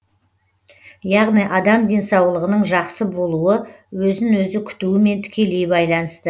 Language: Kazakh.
яғни адам денсаулығының жақсы болуы өзін өзі күтуімен тікелей байланысты